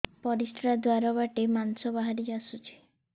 ପରିଶ୍ରା ଦ୍ୱାର ବାଟେ ମାଂସ ବାହାରି ଆସୁଛି